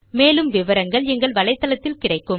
மேற்கொண்டு விவரங்கள் எங்கள் வலைத்தளத்தில் கிடைக்கும்